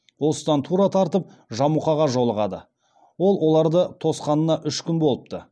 осыдан тура тартып жамұқаға жолығады ол оларды тосқанына үш күн болыпты